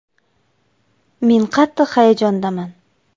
“Men qattiq hayajondaman.